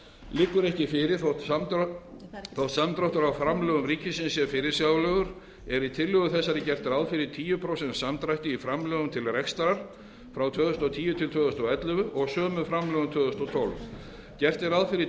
liggur ekki fyrir þótt samdráttur á framlögum ríkisins sé fyrirsjáanlegur er í tillögu þessari gert ráð fyrir tíu prósent samdrætti í framlögum til rekstrar frá tvö þúsund og tíu til tvö þúsund og ellefu og sömu framlögum tvö þúsund og tólf gert er ráð fyrir